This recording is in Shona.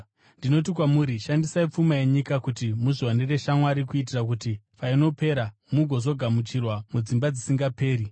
Ndinoti kwamuri, ‘Shandisai pfuma yenyika kuti muzviwanire shamwari, kuitira kuti painopera, mugozogamuchirwa mudzimba dzisingaperi.’